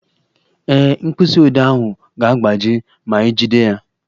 Ee, mkpịsị odee ahụ ga-agbaji ma ijide ya